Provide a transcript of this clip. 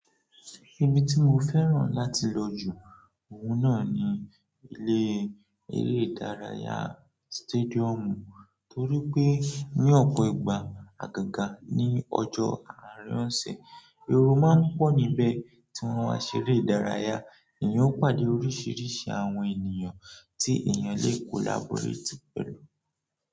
Ibi tí mo fẹ́ràn láti lọ jù ọ̀ún náà ni ilé eré ìdárayá stadium, torí pé ní ọ̀pọ̀ ìgbà àgàgà ní ọjọ́ àárọ̀ ọ̀sẹ̀, ẹrú máa ń pọ̀ níbẹ̀ tí wọ́n á ṣeré ìdárayá, èyí ó pàdé oríṣiríṣi àwọn ènìyàn tí èèyàn lè collaborate pẹ̀lú.